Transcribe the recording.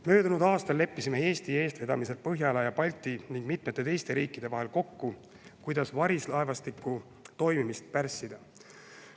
Möödunud aastal leppisime Eesti eestvedamisel Põhjala ja Balti riikide ning mitme teise riigi vahel kokku, kuidas varilaevastiku toimimist pärssida.